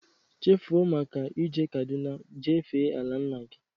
Chefuo maka e je Kaduna jee fee ala nna gị